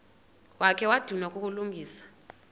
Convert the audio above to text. wakha wadinwa kukulungisa